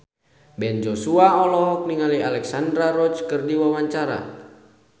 Ben Joshua olohok ningali Alexandra Roach keur diwawancara